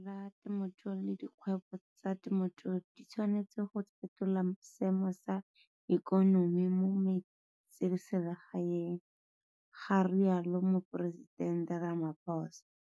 Lephata la temothuo le dikgwebo tsa temothuo di tshwanetse go fetola seemo sa ikonomi mo metseselegae, ga rialo Moporesitente Ramaphosa.